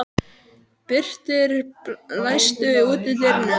Birtir, læstu útidyrunum.